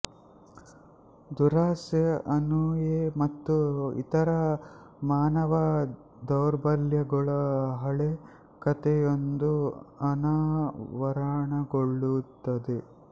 ದುರಾಸೆ ಅಸೂಯೆ ಮತ್ತು ಇತರ ಮಾನವ ದೌರ್ಬಲ್ಯಗಳ ಹಳೆ ಕಥೆಯೊಂದು ಅನಾವರಣಗೊಳ್ಳುತ್ತದೆ